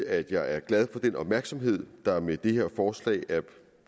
at jeg er glad for den opmærksomhed der med dette forslag er